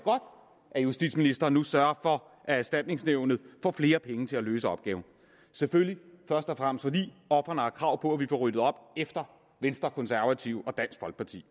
at justitsministeren nu sørger for at erstatningsnævnet får flere penge til at løse opgaven selvfølgelig først og fremmest fordi ofrene har krav på at vi får ryddet op efter venstre konservative og dansk folkeparti